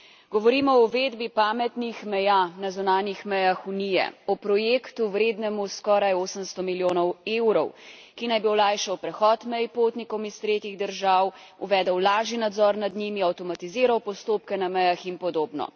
Govorimo o uvedbi pametnih meja na zunanjih mejah Unije, o projektu, vrednemu skoraj 800 milijonov evrov, ki naj bi olajšal prehod mej potnikom iz tretjih držav, uvedel lažji nadzor nad njimi, avtomatiziral postopke na mejah in podobno.